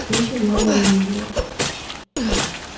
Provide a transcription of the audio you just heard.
ты ещё главного не видела